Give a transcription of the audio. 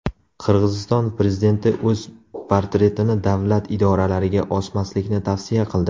Qirg‘iziston prezidenti o‘z portretini davlat idoralariga osmaslikni tavsiya qildi.